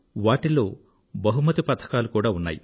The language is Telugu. వాటిల్లో బహుమతి పథకాలు కూడా ఉన్నాయి